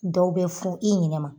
Dɔw bɛ fɔn i ɲinɛ ma.